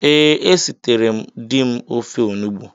Ee, esiteree m di m ofe onugbu